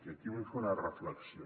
i aquí vull fer una reflexió